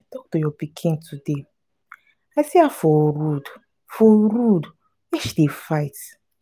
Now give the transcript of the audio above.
to your pikin today. i see her for road for road where she dey fight.